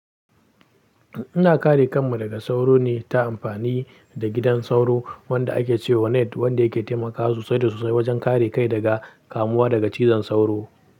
Ina kare kanmu daga sauro ne ta amfani da gidan sauro wanda ake ce wa net wanda yake taimakawa sosai da sosai wajen kare kai daga kamuwa daga cizon sauro.